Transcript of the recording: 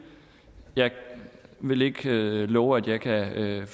jeg vil ikke love at jeg kan